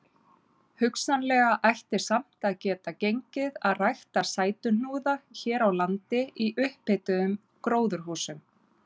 Hugsanlega ætti samt að geta gengið að rækta sætuhnúða hér á landi í upphituðum gróðurhúsum.